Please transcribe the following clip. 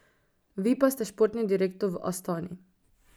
Vi pa ste športni direktor v Astani.